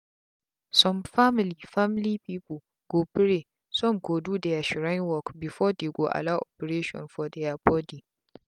some family family people go praysome go do their shrine workbefore dey go allow operation for their body.